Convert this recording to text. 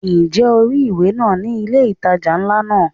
Ǹjẹ́ o rí ìwé náà ni ilé ìtajà ńlá náà?